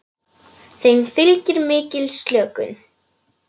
Þeim fylgir mikil slökun.